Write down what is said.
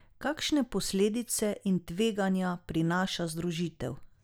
Kakšne posledice in tveganja prinaša združitev?